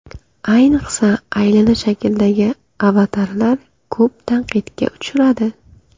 Ayniqsa aylana shakldagi avatarlar ko‘p tanqidga uchradi.